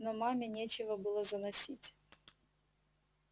но маме нечего было заносить